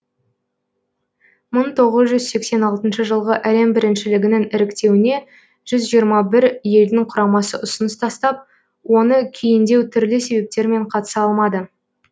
мың тоғыз жүз сексен алтыншы жылғы әлем біріншілігінің іріктеуіне жүз жиырма бір елдің құрамасы ұсыныс тастап оны кейіндеу түрлі себептермен қатыса алмады